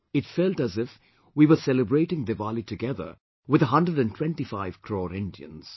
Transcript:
It felt as if we were celebrating Diwali together with a hundred and twenty five crore Indians